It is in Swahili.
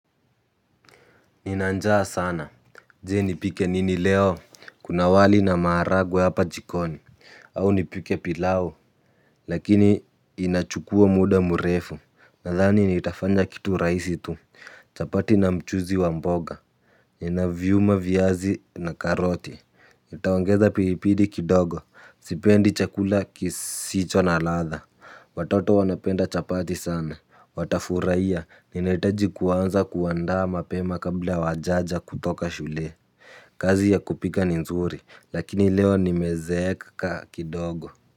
Nina njaa sana, je, nipike nini leo? Kuna wali na maharagwe hapa jikoni. Au nipike pilaou? Lakini inachukua muda murefu, nadhani nitafanya kitu rahisi tu. Chapati na mchuzi wa mboga. Ninaviuma viazi na karoti. Nitaongeza pilipili kidogo. Sipendi chakula kisicho na ladha. Watoto wanapenda chapati sana, watafurahia. Ninahitaji kuanza kuandaa mapema kabla hawajaja kutoka shule. Kazi ya kupika ni nzuri, lakini leo nimezeeka kidogo.